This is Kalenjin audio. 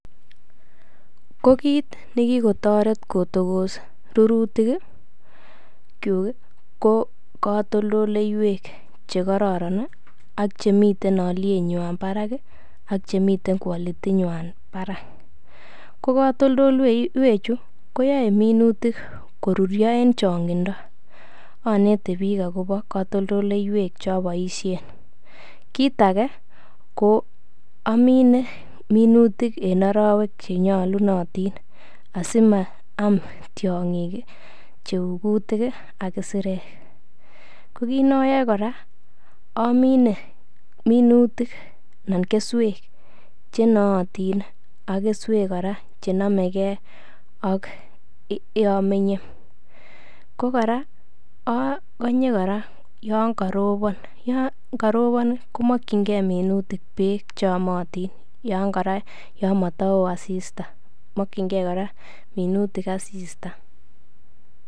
Ko kiit ne kigotoret kotogos rurutikyuk ko katoltoleiywek che kororon ak chemiten olyenywan barak ak cemiten quality nywan barak. Ko katoltoleiywechu koyae minutik koruryo en chang'indo. Oneti biik agobo kotoltoleiywek ch eoboisien kit age ko amine minutiken arawek che nyolunotin asimaam tiong'ik cheu kutik ak isirek. Ko kiit ne oyoe kora amine minutik anan keswek che nootin ak keswek kora che nomege ak ye omenye. Ko kora ogonye kora yon karobon. Yon karobon komokinge minuitik beek che yomotin yon kora moto woo asisita mokinge kora minutik asista.